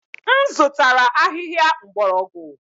M zụtara ahịhịa mgbọrọgwụ.